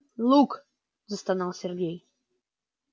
лук застонал сергей